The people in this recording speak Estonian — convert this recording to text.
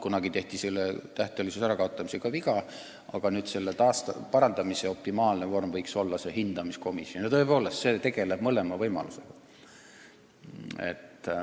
Kunagi tehti lepingute tähtajalisuse ärakaotamisega viga ja selle parandamise optimaalne viis võiks olla hindamiskomisjon, mille puhul on tõepoolest tegemist mõlema võimalusega.